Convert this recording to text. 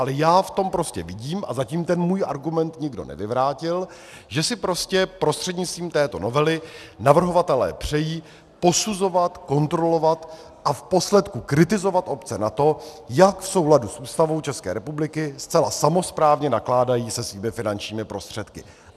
Ale já v tom prostě vidím, a zatím ten můj argument nikdo nevyvrátil, že si prostě prostřednictvím této novely navrhovatelé přejí posuzovat, kontrolovat a v posledku kritizovat obce za to, jak v souladu s Ústavou České republiky zcela samosprávně nakládají se svými finančními prostředky.